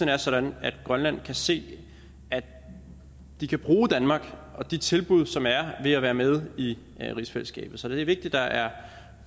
er sådan at grønland kan se at de kan bruge danmark og de tilbud som er ved at være med i rigsfællesskabet så det er vigtigt at der er